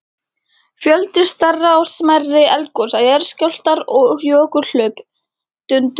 Fjöldi stærri og smærri eldgosa, jarðskjálftar og jökulhlaup dundu yfir.